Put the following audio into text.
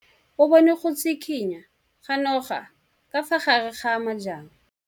O bone go tshikinya ga noga ka fa gare ga majang.